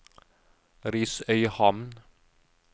Risøyhamn